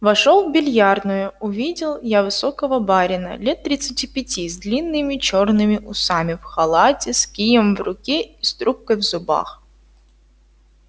вошёл в биллиардную увидел я высокого барина лет тридцати пяти с длинными чёрными усами в халате с кием в руке и с трубкой в зубах